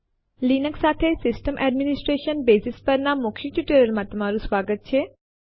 Linux માં regular ફાઈલો સાથે કામ કરવા માટેના મૌખિક ટ્યુટોરીયલમાં તમારું સ્વાગત છે